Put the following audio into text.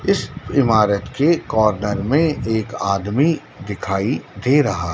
इस इमारत के कॉर्नर में एक आदमी दिखाई दे रहा--